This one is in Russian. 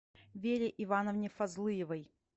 вере ивановне фазлыевой